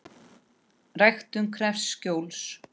Ræktun krefst skjóls.